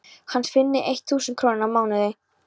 hans fyrir eitt þúsund krónur á mánuði.